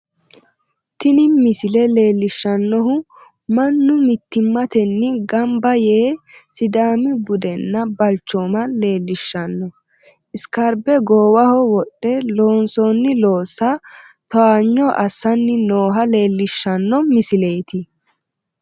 Tini misile leellishshannohu mannu mittimmatenni gamba yee sidaami budenna balchooma leellishshanno isikerbe goowaho wodhe loonsoonni loossa towaanyo assanni nooha leellishshanno misileeti.